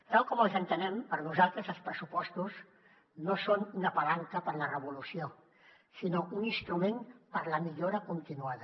tal com els entenem per nosaltres els pressupostos no són una palanca per a la revolució sinó un instrument per a la millora continuada